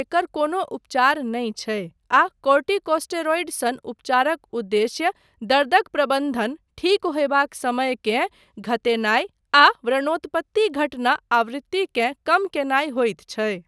एकर कोनो उपचार नहि छै आ कोर्टिकोस्टेरॉइड सन उपचारक उद्देश्य दर्दक प्रबन्धन, ठीक होयबाक समयकेँ घतेनाय आ व्रणोत्पत्ति घटना आवृत्तिकेँ कम कयनाय होइत छै।